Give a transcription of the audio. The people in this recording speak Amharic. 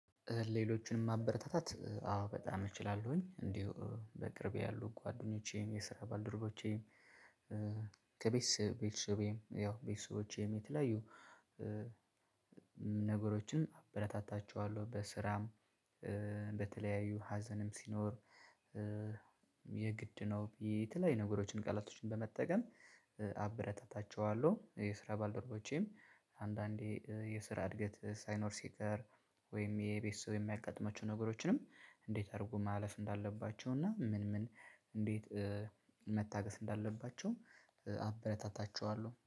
ሌሎችንም ማበረታታት አዎ በጣም እችላለሁኝ እንዲሁ በቅርቤ ያሉ ጓደኞቼም የስራ ባልድርቦቼም ከቤተሰብ ቤት ያው ቤተሰቦቸም የተለያዩ ነገሮችን አበረታታቸዋለሁ። በስራም በተለያዩ ሀዘንም ሲኖር የግድ ነው የተለያዩ ነገሮችን ቃላቶችን በመጠቀም። አበረታታቸዋለሁ የስራ ባልደረቦቼም አንዳንዴ የስራ እድገት ሳይኖር ሲቀር ወይም የቤተሰብ የሚያጋጥማቸው ነገሮችንም። እንዴት አድርጉ ማለፍ እንዳለባቸው እና ምን ምን እንዴት? መታገስ እንዳለባቸው አበረታታቸዋለሁ